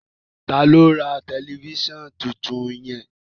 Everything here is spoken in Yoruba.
Ta lo rà Tẹlifísàn títún yen.